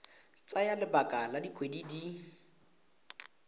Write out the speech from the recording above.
tsaya lebaka la dikgwedi di